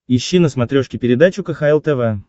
ищи на смотрешке передачу кхл тв